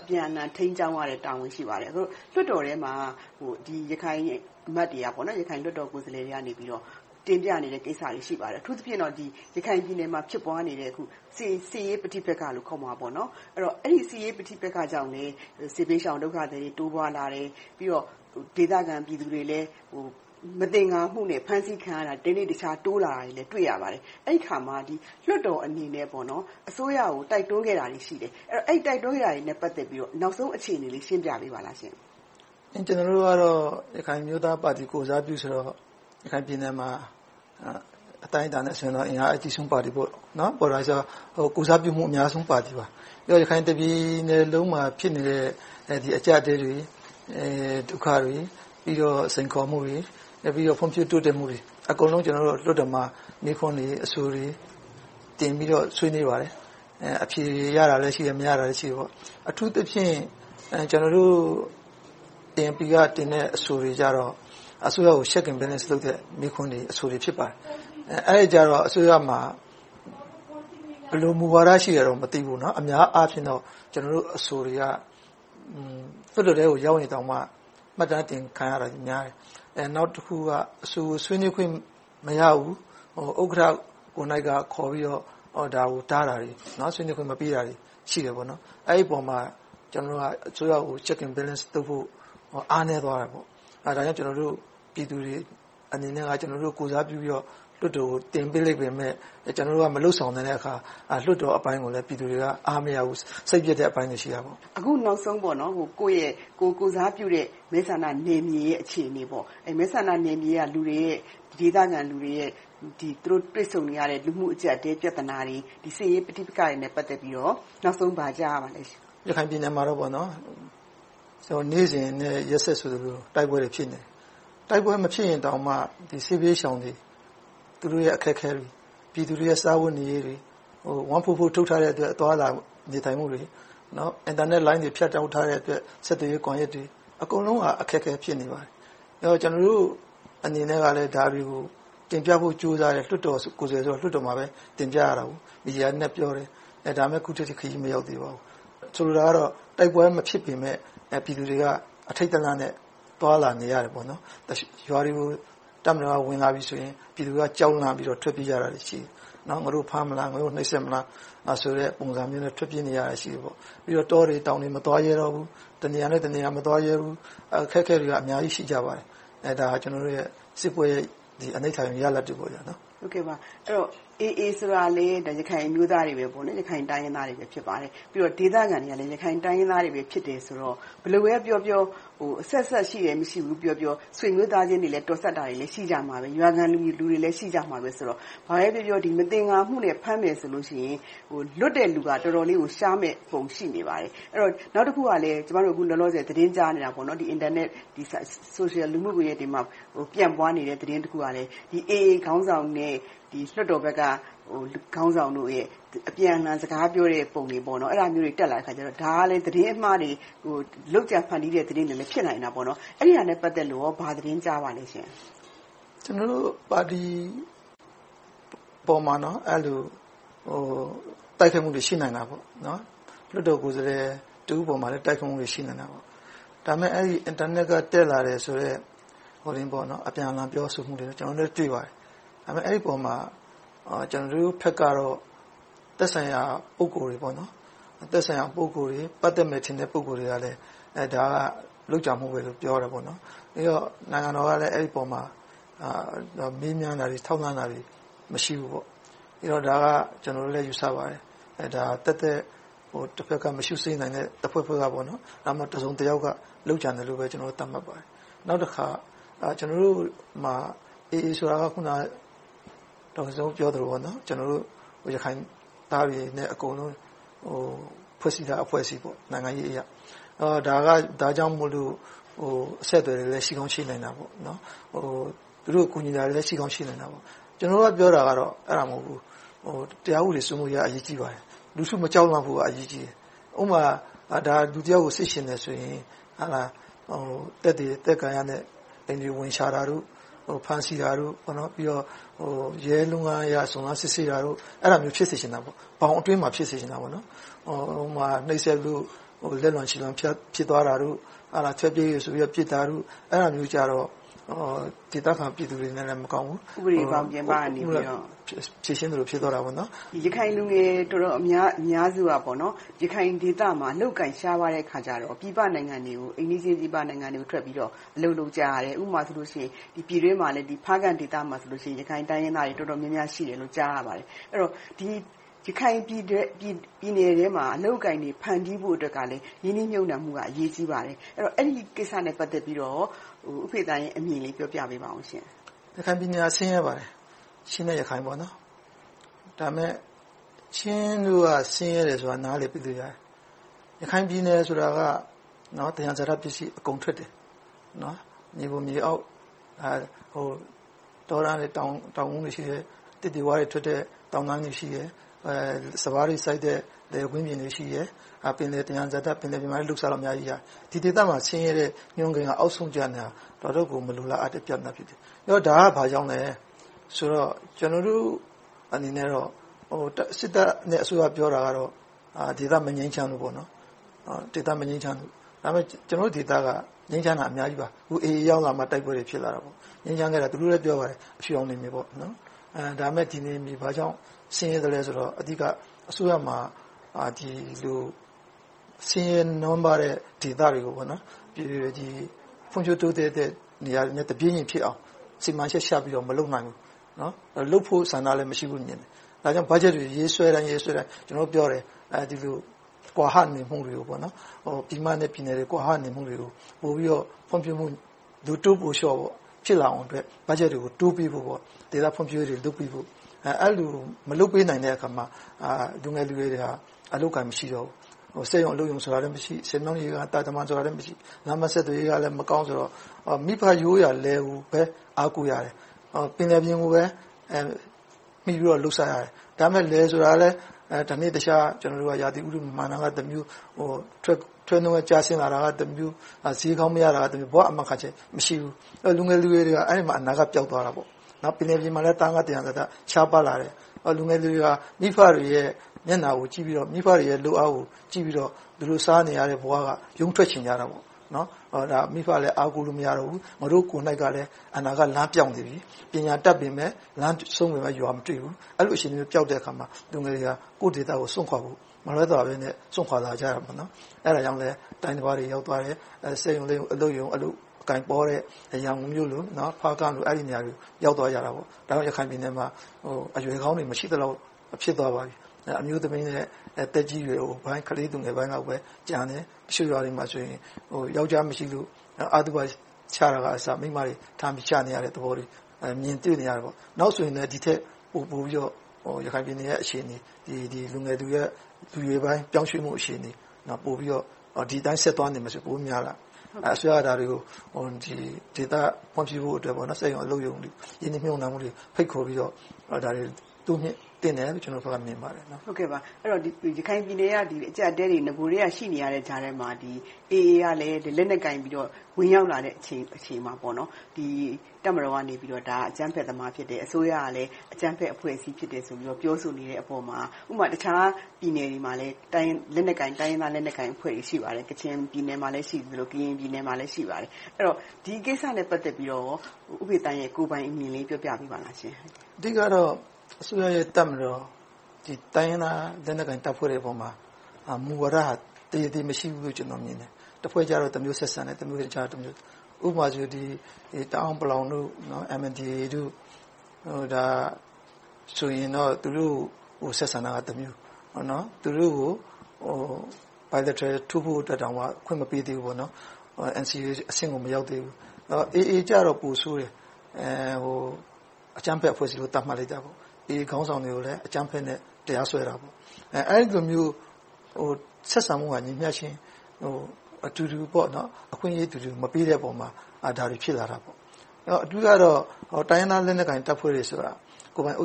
အပြန်အလှန် ထိန်းကျောင်းရတဲ့ Check and Balance တာဝန်တွေ ရှိပါတယ်။ အခု လွှတ်တော်ထဲမှာ ရခိုင်လွှတ်တော်ကိုယ်စားလှယ်တွေက တင်ပြနေတဲ့ကိစ္စတွေ ရှိပါတယ်။ အထူးသဖြင့်တော့ ရခိုင်ပြည်နယ်မှာ ဖြစ်ပွားနေတဲ့ စစ်ရေးပဋိပက္ခလို့ ခေါ်မှာပေါ့ - အဲဒါကြောင့်လဲ စစ်ဘေးရှောင် ဒုက္ခသည်တွေ တိုးပွားလာတယ်။ ပြီးတော့ ဒေသခံပြည်သူတွေလည်း မသင်္ကာမှုနဲ့ ဖမ်းဆီးခံရတာတွေလည်း တနေ့တခြား တိုးလာတာကို တွေ့ရပါတယ်။ အဲဒီအခါမှာ လွှတ်တော်အနေနဲ့ အစိုးရကို တိုက်တွန်းခဲ့တာတွေရှိတယ်။ အဲဒီတိုက်တွန်းမှုတွေနဲ့ ပတ်သက်လို့ နောက်ဆုံး အခြေအနေလေးကို ရှင်းပြပေးပါလားရှင့်။ ကျနော်တို့ကတော့ ရခိုင်အမျိုးသားပါတီ ကိုယ်စားပြုဆိုတော့ ရခိုင်ပြည်နယ်မှာ အတိုင်းအတာနဲ့ အစဉ်အလာအာဖြင့် အင်အားအကြီးဆုံးပါတီ ဖြစ်ပါတယ်။ ကိုယ်စားပြုမှု အများဆုံးပါတီပါ။ အခု ရခိုင်တပြည်နယ်လုံးမှာ ဖြစ်နေတဲ့ အကျပ်အတည်းတွေ၊ ဒုက္ခတွေ၊ စိန်ခေါ်မှုတွေ၊ ဖွံ့ဖြိုးတိုးတက်မှုတွေ အကုန်လုံးကို လွှတ်တော်မှာ မေးခွန်းတွေ၊ အဆိုတွေ တင်ပြပြီးတော့ ဆွေးနွေးပါတယ်။ အဖြေရတာလဲရှိတယ်၊ မရတာလည်းရှိတယ်။ အထူးသဖြင့် ကျနော်တို့ပါတီကတင်တဲ့ အဆိုတွေကြတော့ အစိုးရကို Check and Balance လုပ်တဲ့ မေးခွန်းတွေ၊ အဆိုတွေ ဖြစ်ပါတယ်။ အဲဒီအခါကြတော့ အစိုးရမှာ ဘယ်လိုမူဝါဒ ရှိတယ်လို့တော့ မသိဘူး၊ အများအားဖြင့်တော့ ကျနော်တို့အဆိုတွေက လွှတ်တော်ထဲကို ရောက်ရင်တောင်မှ မှတ်တမ်းတင်ခံရတာများတယ်။ နောက်တခုက အဆိုဆွေးနွေးခွင့် မရဘူး။ ဥက္ကဋ္ဌကိုယ်တိုင်ကခေါ်ပြီးတော့ ဒါကိုတားဆီးမှုတွေ၊ ဆွေးနွေးခွင့်မပေးတာတွေ ရှိတယ်။ အဲဒီအပေါ်မှာ ကျနော်တို့က အစိုးရကို Check and Balance လုပ်ဖို့ အားနည်းသွားတယ်။ ဒါကြောင့် ကျနော်တို့ပြည်သူတွေအနေနဲ့ ကျနော်တို့ကိုယ်စားပြုပြီးတော့ လွှတ်တော်ကို တင်ပေးလိုက်ပေမယ့် ကျနော်တို့က မလုပ်ဆောင်ပေးနိုင်တဲ့အခါ လွှတ်တော်ပိုင်းကို ပြည်သူတွေက အားမရဘူး၊ စိတ်ပျက်တဲ့အပိုင်းတွေ ရှိပါတယ်။ အခုနောက်ဆုံး ကိုယ့်ရဲ့ ကိုယ်ကိုယ်စားပြုတဲ့ မဲဆန္ဒနယ်မြေရဲ့ အခြေအနေ၊ မဲဆန္ဒနယ်မြေက ဒေသခံလူတွေ ကြုံတွေ့နေရတဲ့ လူမှုကျပ်တည်းပြဿနာတွေ၊ စစ်ရေးပဋိပက္ခတွေနဲ့ ပတ်သက်ပြီးတော့ နောက်ဆုံးဘာကြားရပါလဲရှင့်။ ရခိုင်ပြည်နယ်မှာတော့ နေ့စဉ်နဲ့ ရက်ဆက်ဆိုသလို တိုက်ပွဲတွေ ဖြစ်နေတယ်။ တိုက်ပွဲမဖြစ်ရင်တောင်မှ စစ်ဘေးရှောင်တွေ သူတို့ရဲ့ အခက်အခဲတွေ၊ ပြည်သူတွေရဲ့ စားဝတ်နေရေးတွေ၊ ပုဒ်မ ထုတ်ထားတဲ့အတွက် သွားလာနေထိုင်မှုတွေ၊ အင်တာနက်လိုင်းတွေ ဖြတ်တောက်ထားတဲ့အတွက် ဆက်သွယ်ရေးကွန်ရက်တွေ၊ အကုန်လုံး အခက်အခဲ ဖြစ်နေပါတယ်။ ကျနော်တို့အနေနဲ့ကလဲ ဒါတွေကို တင်ပြဖို့ ကြိုးစားတယ်။ လွှတ်တော်ကိုယ်စားလှယ်ဆိုတော့ လွှတ်တော်မှာပဲ တင်ပြကြတယ်။ မီဒီယာတွေနဲ့ ပြောတယ်။ ဒါပေမဲ့ အခုထက်ထိ ခရီးမရောက်သေးပါဘူး။ ဆိုလိုတာကတော့ တိုက်ပွဲမဖြစ်ပေမယ့် ပြည်သူတွေက အထိတ်တလန့်နဲ့ သွားလာနေကြတယ်။ ရွာတွေကို တပ်မတော်က ဝင်လာပြီဆိုရင် ပြည်သူတွေက ကြောက်လန့်ပြီးတော့ ထွက်ပြေးကြတာရှိတယ်။ ငါတို့ကို ဖမ်းမလား၊ နှိပ်စက်မလား ပုံစံမျိုးနဲ့ ထွက်ပြေးနေကြတာရှိတယ်။ ပြီးတော့ တောတွေတောင်တွေ မသွားရဲတော့ဘူး။ တနေရာနဲ့တနေရာ မသွားရဲတော့ဘူး။ အခက်အခဲတွေက အများကြီးရှိကြပါတယ်။ ဒါက စစ်ပွဲတွေကရတဲ့ အနိဋ္ဌာရုံရလဒ်တွေ ဖြစ်ပါတယ်။ အဲဒီတော့ အေအေ ဆိုတာလဲ ရခိုင်အမျိုးသားတွေ၊ ရခိုင်တိုင်းရင်းသားတွေပဲ ဖြစ်ပါတယ်။ ဒေသခံတွေကလည်း ရခိုင်တိုင်းရင်းသားတွေပဲ ဖြစ်တယ်ဆိုတော့ ဘယ်လိုပဲပြောပြော အဆက်အစပ်ရှိတယ်၊ မရှိဘူးပြောပြော၊ ဆွေမျိုးသားချင်းတွေလည်း တော်စပ်တာလည်း ရှိကြမှာပဲ၊ ရွာခံလူတွေလည်း ရှိကြမှာပဲဆိုတော့ ဘာပဲပြောပြော မသင်္ကာမှုနဲ့ ဖမ်းမယ်ဆိုရင် လွတ်တဲ့လူက တော်တော်လေးကို ရှားမယ်ပုံ ရှိနေပါတယ်။ နောက်တခုကလဲ အခုလောလောဆယ် သတင်းကြားနေတာ၊ အင်တာနက်လူမှုကွန်ရက်တွေမှာ ပျံ့ပွားနေတဲ့ သတင်းတစ်ခုကလဲ အေအေ ခေါင်းဆောင်နဲ့ လွှတ်တော်ဘက်က ခေါင်းဆောင်တို့ရဲ အပြန်အလှန် စကားပြောတဲ့ပုံတွေ တက်လာတဲ့အခါ ဒါကလဲ သတင်းအမှားတွေ၊ လုပ်ကြံဖမ်းတီးတဲ့ သတင်းမှားတွေလဲ ဖြစ်နိုင်တယ်။ အဲဒါနဲ့ ပတ်သက်လို့ကော ဘာသတင်းကြားပါလဲရှင့်။ ကျနော်တို့ပါတီပေါ်မျာ အဲဒီလို တိုက်ခိုက်မှုတွေ ရှိနိုင်တာပေါ့။ လွှတ်တော်ကိုယ်စားလှယ် တစ်ဦးအပေါ်မှာလဲ တိုက်ခိုက်မှုတွေ ရှိနိုင်တာပေါ့။ ဒါပေမဲ့ အင်တာနက်က တက်လာတယ်ဆို အပြန်အလှန် ပြောဆိုမှုတွေကို ကျနော်တို့လည်း တွေ့ပါတယ်။ ဒါပေမဲံ အဲဒီအပေါ်မှာ ကျနော်တို့ဘက်ကတော့ သက်ဆိုင်ရာ ပုဂ္ဂိုလ်တွေ၊ ပတ်သက်မယ်ထင်တဲ့ ပုဂ္ဂိုလ်တွေကလဲ ဒါက လုပ်ကြံမှုလိုပဲ ပြောတယ်။ နိုင်ငံတော်ကလဲ အဲ့ဒီအပေါ်မှာ မေးမြန်းတာတွေ၊ ထောက်လှမ်းတာတွေ၊ မရှိဘူး။ ဒါက သက်သက် တဘက်က မရှု့စိမ့်နိုင်တဲ့ အဖွဲ့တဖွဲ့က၊ ဒါမှမဟုတ် တစုံတယောက်က လုပ်ကြံတယ်လို့ ကျနော်တို့ သတ်မှတ်ပါတယ်။ နောက်တခါ ကျနော်တို့မှာ အေအေ ဆိုတာက အခုန ဒေါ်ခင်စိုးဝင်းပြောသလို ရခိုင်သားတွေအားလုံးနဲ့ ဖွဲ့စည်းထားတဲ့ အဖွဲစည်း - နိုင်ငံရေးအရ - ဒါကြောင့်မို့ အဆက်အသွယ်တွေလည်း ရှိကောင်းရှိနိုင်တယ်။ သူတို့ကို ကူညီတာတွေလည်း ရှိကောင်းရှိနိုင်တယ်။ ကျနော်ကပြောတာ အဲဒါမဟုတ်ဘူး --- တရားဥပဒေစိုးမိုးရေးက အရေးကြီးပါတယ်။ လူထုမကြောက်မလန့်ဖို့က အရေးကြီးတယ်။ ဥပမာ - လူတယောက်ကို စစ်ချင်တယ်ဆိုရင် သက်သေသက်ကာယနဲ့ အိမ်တွေဝင်ရှာ၊ ဖမ်းဆီးတာတွေ။ ပြီးတော့ ရဲလုပ်ငန်းအရ စုံစမ်းစစ်ဆေးတာတွေ အဲဒါမျိုး ဖြစ်စေချင်တာပေါ့။ ဘောင်အတွင်းမှာ ဖြစ်စေချင်တယ်။ ဟိုမှာနှိပ်စက်လို့ လက်လွန်ခြေလွန် ဖြစ်သွားတာတို့၊ ထွေးပြေးတယ်ဆိုပြီး ပြစ်တာကို - အဲဒါ ဒေသခံပြည်သူတွေလဲ မကောင်းဘူး။ ဥပဒေပြင်ပကနေ ဖြေရှင်းသလိုမျိုး ဖြစ်သွားတာပေါ့။ ရခိုင်လူငယ်အများစုက ရခိုင်ဒေသမှာ အလုပ်အကိုင် ရှားပါးတဲ့အခါမှာ အိမ်နီးချင်းပြည်ပနိုင်ငံတွေကို ထွက်ပြီးတော့ အလုပ်လုပ်ကြတယ်။ ဥပမာ ပြည်တွင်းမှာဆိုလဲ ဖားကန့်ဒေသမှာ ရခိုင်တိုင်းရင်းသားတွေ တော်တော်များများ ရှိတယ်လို့ ကြားရပါတယ်။ ရခိုင်ပြည်နယ်ထဲမှာ အလုပ်အကိုင်တွေ ဖမ်းတီးဖို့အတွက်လဲ ရင်းနှီးမြုပ်နံှမှုက အရေးကြီးပါတယ်။ အဲဒီကိစ္စနဲ့ ပတ်သက်ပြီး ဦးဖေသန်အမြင်ကို ပြောပြပေးပါရှင့်။ ရခိုင်ပြည်နယ်ဟာ ဆင်းရဲပါတယ်။ ချင်းလည်း ဆင်းရဲပါတယ်။ ဒါပေမဲ့ ချင်းတို့က ဆင်းရဲတယ်ဆိုတာ နားလည်ပေးလို့ရတယ်။ ဒါပေမဲ့ ရခိုင်ပြည်နယ်ဆိုတာ သယံဇာတပစ္စည်း အကုန်ထွက်တယ်။ မြေပေါ်မြေအောက်နဲ့ တောတန်းနဲ့ တောင်ကုန်တွေ ရှိတယ်။ သစ်တွေဝါးတွေထွက်တဲ့ တောင်တန်းတွေရှိတယ်။ စပါးတွေစိုက်တဲ့ လယ်ကွင်းပြင်တွေ ရှိတယ်။ ပင်လယ်သယံဇာတ - ပင်လယ်ပြင်မှာလဲ လုပ်စားလို့ အများကြီးရတယ်။ ဒီဒေသမှာ ဆင်းရဲတဲ့ညွှန်းကိန်းက အောက်ဆုံးကျနေတာ တော်တော်ကို မလိုလားအပ်တဲ့ ပြဿနာ ဖြစ်တယ်။ ဒါက ဘာကြောင့်လဲဆိုတော့ ကျနော်တို့အနေနဲ့ စစ်တပ်နဲ့ အစိုးရ ပြောတာတော့ ဒေသမငြိမ်းချမ်းလို့ပေါ့။ ဒါပေမဲ့ ကျနော်တို့ဒေသက ငြိမ်းချမ်းတာ အများကြီးပါ။ အေအေ ရောက်လာမှ အခု တိုက်ပွဲတွေ ဖြစ်လာတာ။ သူတို့လည်း ပြောပါတယ် အဖြူရောင်နယ်မြေ။ ဒါပေမဲ့ ဒီနယ်မြေ ဘာကြောင့်ဆင်းရဲလဲဆိုတော့ အဓိက အစိုးရမှာ ဒီလိုဆင်းရဲနွမ်းပါးတဲ့ ဒေသတွေကို ဖွံ့ဖြိုးတိုးတက်တဲ့ နေရာတွေနဲ့ တပြေညီဖြစ်အောင် စီမံချက်ချပြီးတော့ မလုပ်နိုင်ဘူး။ လုပ်ဖို့ဆန္ဒလည်း မရှိဘူးလို့မြင်တယ်။ ဒါကြောင့် ဘတ်ဂျက်တွေ ရေးဆွဲတိုင်း ကျနော်တို့ပြောတယ် - ဒီလိုကွာဟနေမှုတွေ - ပြည်မနဲ့ပြည်နယ်တွေ ကွာဟနေမှုတွေကို ပိုပြီးတော့ ဖွံ့ဖြိုးမှုအတွက် လိုတိုးပိုလျှော့ ဖြစ်လာအောင် ဘတ်ဂျက်တွေကို တိုးပေးဖို့၊ ဒေသဖွံ့ဖြိုးရေးတွေ လုပ်ပေးဖို့။ အဲဒီလို မလုပ်ပေးနိုင်တဲ့အခါမှာ လူငယ်လူရွယ်တွေက အလုပ်အကိုင် မရှိတော့ဘူး။ စက်ရုံအလုပ်ရုံ၊ ဆည်မြောင်းတာတမံတွေ မရှိ။ လမ်းပန်းဆက်သွယ်ရေးက မကောင်းဆိုတော့ မိဘရိုးရာ လယ်ကိုပဲ အားကိုးရတယ်။ ပင်လယ်ပြင်ကိုပဲ မှီပြီးတော့ လုပ်စားရတယ်။ ဒါပေမဲ့ လယ်ဆိုတာလဲ တနေ့တခြား ရာသီဥတု မမှန်တာကတမျိုး၊ ထွက်နှုန်းကျဆင်းတာကတမျိုး၊ ဈေးကောင်းမရတာတမျိုး ဘဝအာမခံချက် မရှိဘူး။ လူငယ်လူရွယ်တွေက အဲဒီမှာ အနာဂတ်ပျောက်သွားတယ်။ ပင်လယ်ပြင်မှာလဲ သားငါးသယံဇာတ ရှားပါးလာတယ်။ လူငယ်လူရွယ်တွေဟာ မိဘတွေရဲ့ မျက်နှာကိုကြည့်ပြီးတော့၊ မိဘတွေရဲ့ လုပ်အားကိုကြည့်ပြီးတော့ သူတို့စားနေရတဲ့ ဘဝကနေ ရုန်းထွက်ချင်ကြတာပေါ့။ မိဘလည်း အားကိုးလို့ မရတော့ဘူး။ သူတို့ကိုယ်တိုင်လည်း အနာဂတ်လမ်းပျောက်နေကြတယ်။ ပညာတတ်ပေမယ့် လမ်းဆုံးပေမယ့် ရွာမတွေ့ဘူး။ အဲဒီလိုအခြေအနေမျိုးမှာ လူငယ်တွေက ကိုယ့်ဒေသကို စွန့်ခွါဖို့ မလွဲသာပေမယ့် စွန့်ခွါလာကြတယ်။ အဲဒါကြောင့်လဲ တိုင်းတပါးတွေ ရောက်သွားတယ်။ စက်ရုံအလုပ်ရုံ အလုပ်အကိုင်ပေါတဲ့ ရန်ကုန်၊ ဖားကန့်တို့ကို ရောက်သွားကြတယ်။ ဒါပေမဲ့ ရခိုင်ပြည်နယ်ထဲမှာ အရွယ်ကောင်းတွေ မရှိသလောက် ဖြစ်သွားပါပြီ။ အမျိုးသမီးနဲ့ သက်ကြီးရွယ်အိုနဲ့ ကလေးပိုင်းတွေပဲ ကျန်တယ်။ တချို့ရွာတွေမှာဆို ယောကျ်ားမရှိလို့ အသုဘချတာကအစ မိန်းမတွေထမ်းပြီး ချနေရတဲ့သဘောတွေ မြင်တွေ့နေရတယ်။ နောက်ဆိုလဲ ဒီထက်ပိုပြီးတော့ ရခိုင်ပြည်နယ်ရဲ့ အခြေအနေ၊ လူငယ်လူရွယ်တွေ ပြောင်းရွှေ့မှုအခြေအနေ ပိုပြီးတော့ ဒီအတိုင်းဆက်သွားနေမယ်ဆိုရင် ပိုများလာပါမယ်။ အစိုးရက ဒါတွေကို ဒေသဖွံ့ဖြိုးဖို့အတွက် စက်ရုံ၊ အလုပ်ရုံ ရင်းနှီးမြုပ်နံှတွေ ဖိတ်ခေါ်ပြီးတော့ တိုးမြှင့်သင့်တယ်လို့ ကျနော်အနေနဲ့ မြင်ပါတယ်။ ရခိုင်ပြည်နယ်က အကျပ်အတည်းတွေ နဂိုကတည်းက ရှိနေတဲ့ကြားထဲကနေ အေအေ ကလဲ လက်နက်ကိုင်ပြီးတော့ ဝင်ရောက်လာတဲ့အချိန်မှာ တပ်မတော်ဘက်ကနေ ဒါအကြမ်းဖက်သမား ဖြစ်တယ်။ အစိုးရဘက်ကလည်း အကြမ်းဖက်သမားဆိုပြီး ပြောဆိုနေတဲ့ပေါ်မှာ - အခြားပြည်နယ်တွေမှာ တိုင်းရင်းသားလက်နက်ကိုင်တွေ ရှိပါတယ်။ ကချင်ပြည်နယ်မှာ ရှိသလို၊ ကရင်ပြည်နယ်မှာလည်း ရှိပါတယ်။ ဒီကိစ္စနဲ့ ပတ်သက်ပြီးတော့ ဦးဖေသန်းရဲ့ ကိုယ်ပိုင်အမြင်လေး ပြောပြပါ။ အဓိကတော့ အစိုးရရဲ့ တပ်မတော်က တိုင်းရင်းသားလက်နက်ကိုင်တပ်ဖွဲ့တွေပေါ်မှာ မူဝါဒက တရေတည်း မရှိဘူးလို့ မြင်တယ်။ တဖွဲ့ကြတော့ တမျိုးဆက်ဆံတယ်။ အခြားတဖွဲ့တော့ တမျိုး။ ဥပမာ တအောင်း၊ ပလောင်၊ အမ်အမ်ဒီအေ တို့ ဒါဆိုရင်တော့ သူတို့ကို ဆက်ဆံတာကတမျိုး။ သူတို့ကို bilateral ထိုးဖို့ကို အခွင့်မပေးသေးဘူး။ NCA အဆင့်ကို မရောက်သေးဘူး။ အေအေကြတော့ ပိုဆိုးတးယ်။ အကြမ်းဖက်အဖွဲ့အစည်းလို့ သတ်မှတ်လိုက်တာ။ အေအေခေါင်းဆောင်တွေကို အကြမ်းဖက်နဲ့ တရားစွဲကြတယ်။ အဲဒီလိုမျိုး ဆက်ဆံမှုက မညီမျှခြင်း၊ အခွင့်အရေးအတူတူ မပေးတဲ့ပေါ်မှာ ဒါတွေဖြစ်လာတယ်။ အဓိကတော့ တိုင်းရင်းသားလက်နက်ကိုင် တပ်ဖွဲ့တွေဆိုတာ ကိုယ်ပိုင်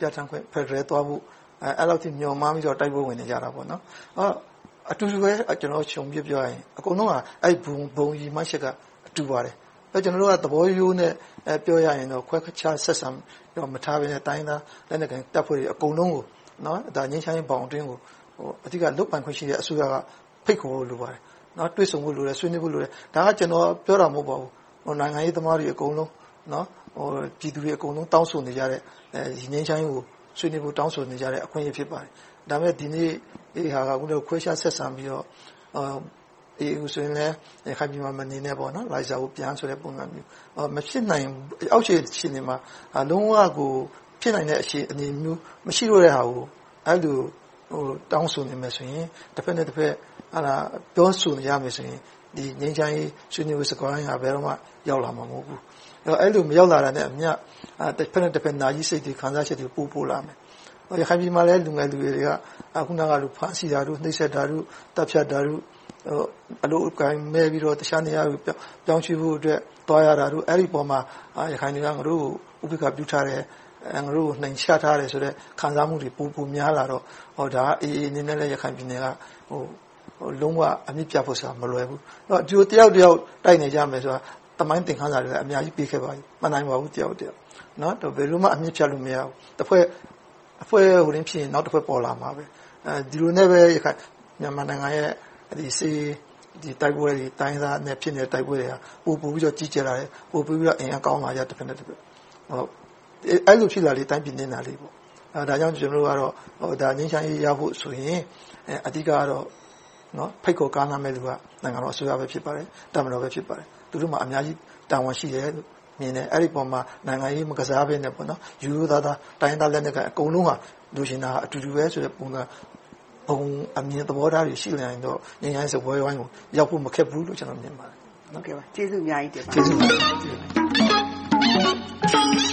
ပြဌာန်းခွင့်၊ ကိုယ်ပိုင်အုပ်ချုပ်ခွင့်၊ ဖယ်ဒရယ်သွားဖို့ အဲဒီလောက်မျှော်မှန်းပြီးတော့ တိုက်ပွဲဝင်နေကြတယ်။ အတူတူပဲ ခြုံပြီးပြောပြရင် အဲဒီဘုံရည်မှန်းချက် တူနေပါတယ်။ ကျနော်တို့က သဘောရိုးနဲ့ ပြောရရင်တော့ ခွဲခြားဆက်ဆံမှုထဲမှာ မထားဘဲနဲ့ တိုင်းရင်းသားလက်နက်ကိုင် တပ်ဖွဲ့တွေအကုန်လုံးကို ငြိမ်းချမ်းရေးဘောင်အတွင်းကို အဓိက လုပ်ပိုင်ခွင့်ရှိတဲ့ အစိုးရက ဖိတ်ခေါ်ဖို့လိုပါတယ်။ တွေ့ဆုံဖို့လိုတယ်။ ဆွေးနွေးဖို့လိုတယ်။ ဒါက ကျနော်ပြောတာ မဟုတ်ပါဘူး။ နိုင်ငံရေးသမားတွေ အကုန်လုံးပြောတယ်။ ပြည်သူတွေအကုန်လုံး တောင်းဆိုတဲ့ ဒီငြိမ်းချမ်းရေးကို တောင်းဆိုနေတဲ့ အခွင့်အရေး ဖြစ်ပါတယ်။ ဒါပေမဲ့ ဒီနေ့ ခွဲခြားဆက်ဆံပြီးတော့ အေအေ ကို ရခိုင်ပြည်နယ်မှာ မနေနဲ့။ လိုင်းဇာကိုပြန်ဆိုတဲ့ ပုံစံမျိုး။ မဖြစ်နိုင်ဘူး - အောက်ခြေအဆင့်တွေမှာ လုံးဝကို မဖြစ်နိုင်တဲ့ အခြေအနေမျိုး မရှိတော့တဲ့ဟာကို အဲဒီလို တောင်းဆိုနေမယ်ဆိုရင် တဘက်နဲ့တဘက် ပြောဆိုနေကြမယ်ဆိုရင် ဒီငြိမ်းချမ်းရေး ဆွေးနွေးပွဲ စကားဝိုင်းဟာ ဘယ်တော့မှ ရောက်လာမှာ မဟုတ်ဘူး။ အဲဒီလို မရောက်လာတာနဲ့အမျှ တဘက်နဲ့တဘက်၊ နားကြီးစိတ်တွေ၊ မခံမရပ်ချက်တွေ ပိုပိုလာတယ်။ ရခိုင်ပြည်နယ်မှာ လူငယ်လူရွယ်တွေက ဖမ်းဆီးတာတို့၊ နှိပ်စက်တာတို့ သတ်ဖြတ်တာတို့ အလုပ်အကိုင်မဲ့ပြီးတော့ အခြားနေရာကို ပြောင်းရွှေ့ဖို့အတွက် သွားရတာတို့ အဲဒီအပေါ်မှာ ရခိုင်တွေက ငါတို့ကို ဥပက္ခာပြုထားတယ်။ ငါတို့နိမ်ချထားတယ်ဆိုတဲ့ ခံစားမှုတွေ ပိုမိုများလာတော့ ဒါက အေအေ အနေနဲ့လည်း ရခိုင်ပြည်နယ်က လုံးဝအမြစ်ပြတ်ဖို့ဆိုတာ မလွယ်ဘူး။ ဒီလို တယောက်ကိုတယောက် တိုက်နေကြတာကို သမိုင်းသင်ခန်းစာတွေ အများကြီးပေးခဲ့ပါပြီ။ မနိုင်ပါဘူး တယောက်ကိုတယောက်။ ဘယ်လိုမှ အမြစ်ဖြတ်လို့ မရဘူး။ တဖွဲ့သွားရင် နောက်တဖွဲ့ ပေါ်လာမှာပါ။ ဒီလိုနဲ့ပဲ မြန်မာနိုင်ငံရဲ့ စစ်ရေး၊ တိုက်ပွဲတွေ တိုင်းရင်းသားတွေနဲ့ ဖြစ်နေတဲ့ တိုက်ပွဲတွေဟာ ပိုပိုပြီးတော့ ကြီးကျယ်လာတယ်။ အင်အားပိုကောင်းလာတယ်။ အဲဒီလို ဖြစ်လာလေ တိုင်းပြည်နစ်နာလေ။ ဒါကြောင့် တိုင်းပြည်ငြိမ်းချမ်းရေးရဖို့ဆိုရင် အဓိကတော့ ဖိတ်ခေါ်ကမ်းလှမ်းမယ်လူက နိုင်ငံတော်အစိုးရ ဖြစ်ပါတယ်။ တပ်မတော် ဖြစ်ပါတယ်။ သူတို့မှာ အများကြီးတာဝန် ရှိတယ်လို့မြင်တယ်။ အဲဒီအပေါ်မှာ နိုင်ငံရေးမကစားဘဲနဲ့ ရိုးရိုးသားသား တိုင်းရင်းသားလက်နက်ကိုင် အကုန်လုံး လိုချင်တာက အတူတူပဲဆိုတဲ့ ပုံစံ ဘုံအမြင်သဘောထားတွေ ရှိလာရင် ငြိမ်းချမ်းရေးစကားဝိုင်းကို ရောက်ဖို့မခက်ပါဘူးလို့ မြင်ပါတယ်။ ကျေးဇူးအများကြီးတင်ပါတယ်။ ကျေးဇူးတင်ပါ